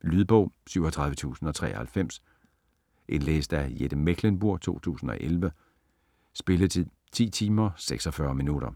Lydbog 37093 Indlæst af Jette Mechlenburg, 2011. Spilletid: 10 timer, 46 minutter.